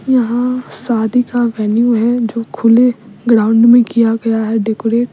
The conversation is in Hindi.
यहां शादी का वेन्यू है जो खुले ग्राउंड में किया गया है डेकोरेट --